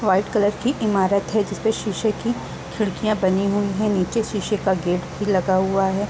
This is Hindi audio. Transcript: वाइट कलर की इमारत है जिसमे शीशे की खिड़कियां बनी हुई है निचे शीशे का गेट भी लगा हुआ है।